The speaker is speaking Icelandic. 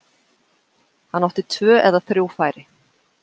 Hann átti tvö eða þrjú færi.